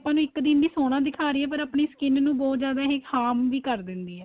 ਆਪਾਂ ਨੂੰ ਇੱਕ ਲਈ ਸੋਹਣਾ ਦਿਖਾ ਰਹੀ ਏ ਪਰ ਆਪਣੀ skin ਨੂੰ ਬਹੁਤ ਜਿਆਦਾ harm ਵੀ ਕਰ ਦਿੰਦੀ ਏ